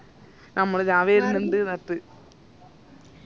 നമ്മളിതാ വെരിന്നിൻഡ് ന്ന് പറഞ്ഞിറ്റ്